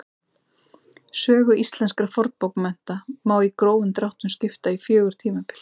Sögu íslenskra fornbókmennta má í grófum dráttum skipta í fjögur tímabil.